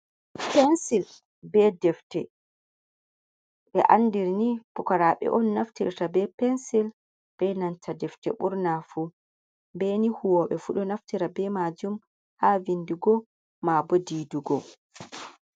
Pensil be defte, ɓe andirni pukaraɓe’on naftirta be pensil be nanta defte ɓurnafu be ni huwobe fu ɗo naftira be majum ha vindugo mabo didugo.